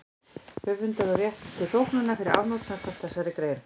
Höfundur á rétt til þóknunar fyrir afnot samkvæmt þessari grein.